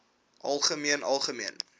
algemeen algemeen